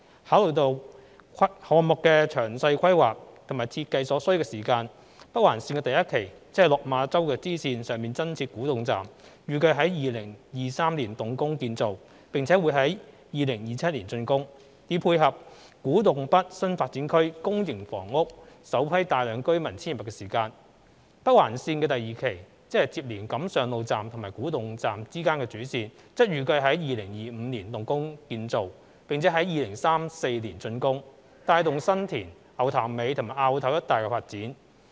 考慮到項目的詳細規劃及設計所需的時間，北環綫第一期，即落馬洲支線上增設古洞站，預計於2023年動工建造，並在2027年竣工，以配合古洞北新發展區公營房屋首批大量居民遷入的時間。北環綫第二期，即連接錦上路站及古洞站之間的主線，則預計於2025年動工建造，並在2034年竣工，帶動新田、牛潭尾及凹頭一帶的發展。